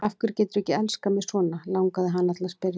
Af hverju geturðu ekki elskað mig svona, langaði hana til að spyrja.